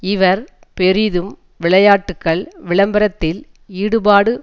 இவர் பெரிதும் விளையாட்டுக்கள் விளம்பரத்தில் ஈடுபாடு